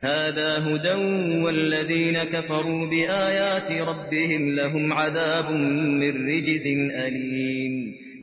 هَٰذَا هُدًى ۖ وَالَّذِينَ كَفَرُوا بِآيَاتِ رَبِّهِمْ لَهُمْ عَذَابٌ مِّن رِّجْزٍ أَلِيمٌ